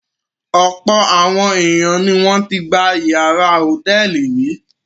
Ọ̀pọ̀ àwọn ènìyàn ni wọ́n ti gba ìyàrá hòtẹ́ẹ́lì rí.